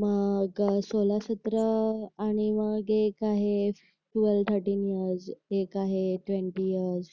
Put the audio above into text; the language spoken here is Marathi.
मग सोलर सत्र आणि मग एक आहे ट्वेल्व्ह थरटीं इयर्स मग एक आहे ट्वेंटी इयर्स